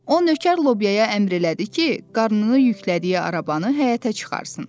O nökər Lobyaya əmr elədi ki, qarnını yüklədiyi arabanı həyətə çıxartsın.